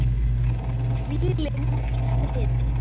Hvíli hún í friði.